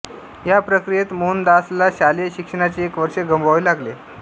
या प्रक्रियेत मोहनदासला शालेय शिक्षणाचे एक वर्ष गमवावे लागले